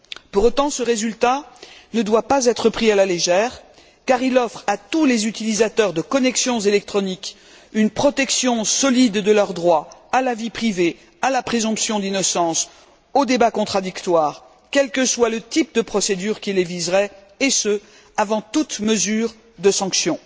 Pour autant, ce résultat ne doit pas être pris à la légère, car il offre à tous les utilisateurs de connexions électroniques une protection solide de leurs droits à la vie privée, à la présomption d'innocence, au débat contradictoire, quel que soit le type de procédure qui les viserait, et ce avant toute mesure de sanction.